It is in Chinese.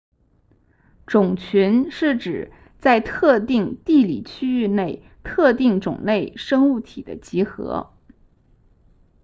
种群是指在特定地理区域内特定种类生物体的集合